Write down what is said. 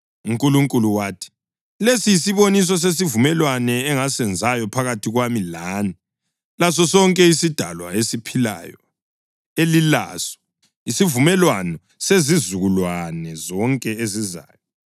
UNkulunkulu wathi, “Lesi yisiboniso sesivumelwano engisenzayo phakathi kwami lani lasosonke isidalwa esiphilayo elilaso, isivumelwano sezizukulwane zonke ezizayo: